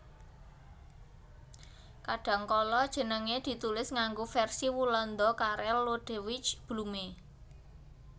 Kadhangkala jenengé ditulis nganggo versi Walanda Karel Lodewijk Blume